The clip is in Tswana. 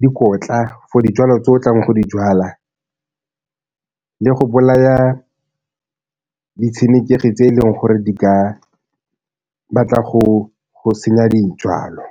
dikotla for dijalo o tlang go di jala le go bolaya ditshenekegi tse eleng gore di ka batla go senya dijalo.